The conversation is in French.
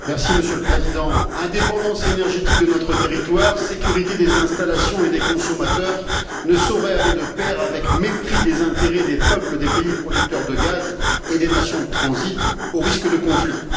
Monsieur le Président, l'indépendance énergétique de notre territoire et la sécurité des installations et des consommateurs ne sauraient aller de pair avec le mépris des intérêts des peuples des pays producteurs de gaz et des nations de transit, au risque de conflits.